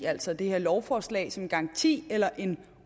altså det her lovforslag som en garanti eller en